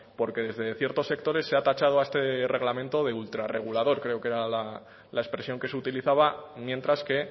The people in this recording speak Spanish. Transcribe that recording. porque desde ciertos sectores se ha tachado a este reglamento de ultra regulador creo que era la expresión que se utilizaba mientras que